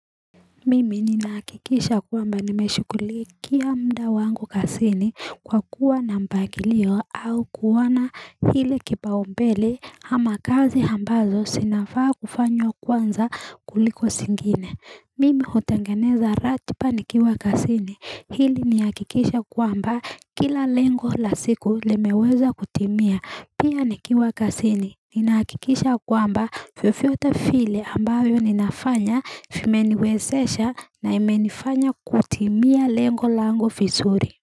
Mimi ninaakikisha kwamba nimeshukulikia mda wangu kasini kwa kuwa na mpagilio au kuona hile kipaombele ama kazi hambazo sinafaa kufanywa kwanza kuliko singine Mimi utengeneza ratipa nikiwa kasini hili niakikisha kwamba kila lengo la siku limeweza kutimia pia nikiwa kasini Ninaakikisha kwamba vyovyote file ambayo ninafanya fimeniwezesha na imenifanya kutimia lengo lango fizuri.